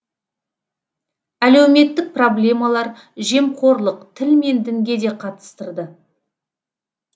әлеуметтік проблемалар жемқорлық тіл мен дінге де қатыстырды